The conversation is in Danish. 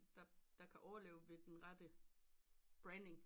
Der kan overleve ved den rette branding